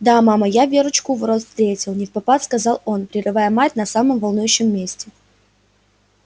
да мама я верочку у ворот встретил невпопад сказал он прерывая мать на самом волнующем месте